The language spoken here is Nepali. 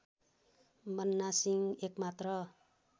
बन्ना सिंह एकमात्र